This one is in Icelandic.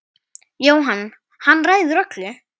Jóhann: Hann ræður öllu?